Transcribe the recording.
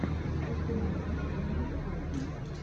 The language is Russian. установи элли голдинг